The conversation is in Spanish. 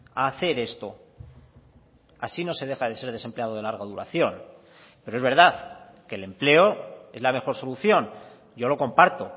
a hacer esto así no se deja de ser desempleado de larga duración pero es verdad que el empleo es la mejor solución yo lo comparto